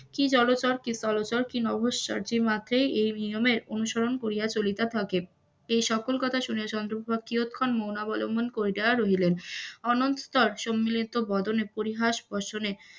কি জলচর কি স্থলচর কি নভোশ্চর যে ভাবেই এই নিয়মের অনুসরন করিয়া চলিতে থাকে, এই সকল কথা শুনিয়া চন্দ্রপ্রভা কিয়ৎক্ষণ মৌনাবলম্বন করিয়া রহিলেন, অন্যত্তর বদনে পরিহাস বসনে,